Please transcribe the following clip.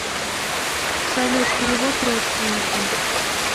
салют перевод родственнику